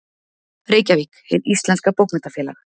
Reykjavík: Hið íslenska bókmenntafélag.